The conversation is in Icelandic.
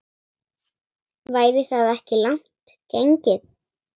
Væri það ekki langt gengið?